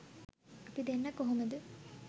අපි දෙන්න කොහොමද